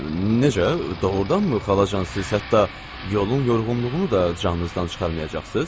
Necə? Doğurdanmı, xalacan, siz hətta yolun yorğunluğunu da canınızdan çıxarmayacaqsız?